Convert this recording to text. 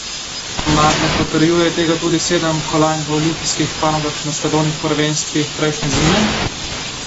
Mar ne potrjuje tega tudi sedem kolajn v olimpijskih panogah na svetovnih prvenstvih prejšnje zime?